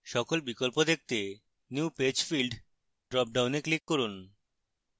সকল বিকল্প দেখতে new page field dropdown click করুন